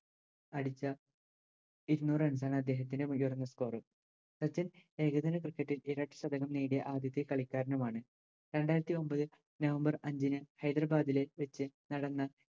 അടിച്ച ഇരുനൂറ് Runs ആണ് അദ്ദേഹത്തിൻറെ ഉയർന്ന Score സച്ചിൻ ഏകദിന Cricket ഇൽ നേടിയ ആദ്യത്തെ കളിക്കാരനുമാണ് രണ്ടായിരത്തി ഒമ്പത് November അഞ്ചിന് ഹൈദരബാദിലെ വെച്ച് നടന്ന